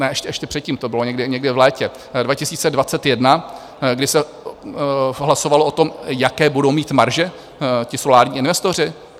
Ne, ještě předtím to bylo, někdy v létě 2021, kdy se hlasovalo o tom, jaké budou mít marže ti solární investoři?